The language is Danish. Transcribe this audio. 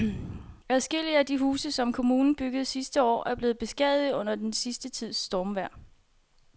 Adskillige af de huse, som kommunen byggede sidste år, er blevet beskadiget under den sidste tids stormvejr.